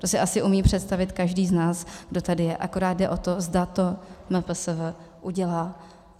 To si asi umí představit každý z nás, kdo tady je, akorát jde o to, zda to MPSV udělá.